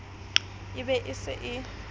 e be e se e